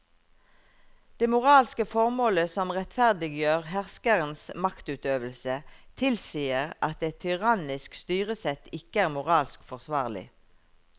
Det moralske formålet som rettferdiggjør herskerens maktutøvelse tilsier at et tyrannisk styresett ikke er moralsk forsvarlig.